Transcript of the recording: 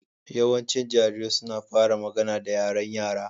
Yawancin jarirai suna fara magana da yaren Yara